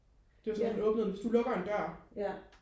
det var sådan lidt åbnede hvis du lukker en dør